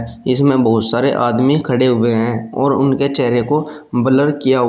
इसमें बहुत सारे आदमी खड़े हुए हैं और उनके चेहरे को ब्लर किया--